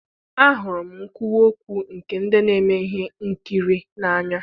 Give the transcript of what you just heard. ahụrụ m nkwuwa okwu nke ndị na-eme ihe nkiri n'anya.